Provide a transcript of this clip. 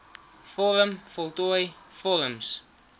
vorm voltooi vorms